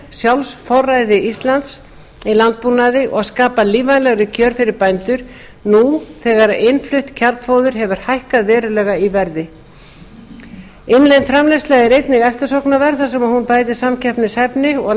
sjálfsforræði íslands í landbúnaði og skapa lífvænlegri kjör fyrir bændur nú þegar innflutt kjarnfóður hefur hækkað verulega í verði innlend framleiðsla er einnig eftirsóknarverð þar sem hún bætir samkeppnishæfni og